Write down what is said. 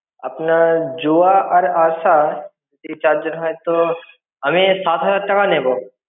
আপনার জোয়া আর আসা এই চারজন হয়তো আমি সাত হাজার টাকা নেবো.